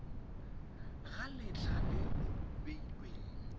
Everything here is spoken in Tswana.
ga letlha le le beilweng